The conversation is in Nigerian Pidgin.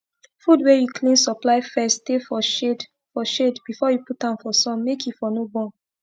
fud wey u clean supply first stay for shade for shade before u put am for sun make e for no burn